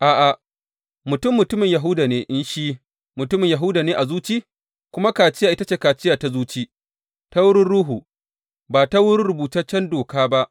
A’a, mutum mutumin Yahuda ne in shi mutumin Yahuda ne a zuci; kuma kaciya ita ce kaciya ta zuci, ta wurin Ruhu, ba ta wurin rubutaccen doka ba.